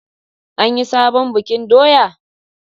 An yi sabon bikin doya?